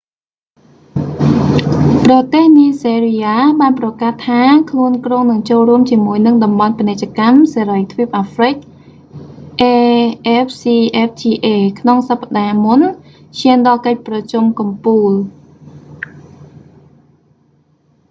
ប្រទេសនីហ្សេរីយ៉ាបានប្រកាសថា ខ្លួនគ្រោងនឹងចូលរួមជាមួយនឹងតំបន់ពាណិជ្ជកម្មសេរីទ្វីបអាហ្រ្វិក afcfta ក្នុងសប្តាហ៍មុនឈានដល់កិច្ចប្រជុំកំពូល